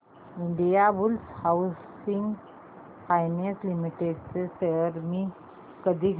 Indiabulls housing finance limited shares मी कधी घेऊ